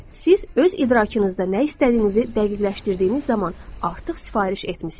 Siz öz idrakınızda nə istədiyinizi dəqiqləşdirdiyiniz zaman artıq sifariş etmisiz.